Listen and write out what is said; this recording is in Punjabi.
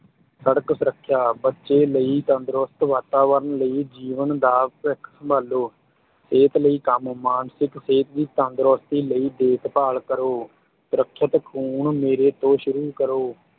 ਸੜਕ ਸੁਰੱਖਿਆ, ਬੱਚੇ ਲਈ ਤੰਦਰੁਸਤ ਵਾਤਾਵਰਣ ਲਈ ਜੀਵਨ ਦਾ ਭਵਿੱਖ ਸੰਭਾਲੋ, ਸਿਹਤ ਲਈ ਕੰਮ, ਮਾਨਿਸਕ ਸਿਹਤ ਦੀ ਤੰਦਰੁਸਤੀ ਲਈ ਦੇਖਭਾਲ ਕਰੋ, ਸੁਰੱਖਿਅਤ ਖੂਨ ਮੇਰੇ ਤੋਂ ਸ਼ੁਰੂ ਕਰੋ।